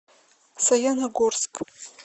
саяногорск